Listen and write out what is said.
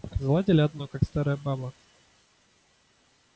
заладили одно как старая баба